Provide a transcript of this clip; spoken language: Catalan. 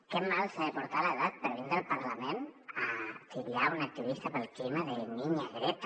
que malament s’ha de portar l’edat per vindre al parlament a titllar una activista pel clima de niña greta